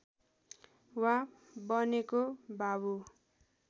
मा बनेको बाबु